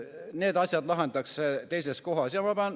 Need asjad lahendatakse teises kohas.